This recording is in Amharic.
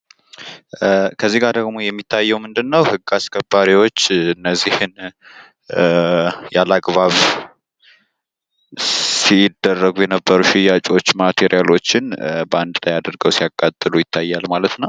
ከዚህ ጋ የሚታየው ደግሞ እነዚህን ያለአግባብ ሲደረጉ የነበር ሽያጮች ማቴሪያሎችን በአንድ ላይ አድርገው ሲያቃጥሉ ይታያል ማለት ነው።